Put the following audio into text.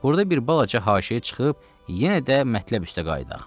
Burda bir balaca haşiyə çıxıb, yenə də mətləb üstə qayıdaq.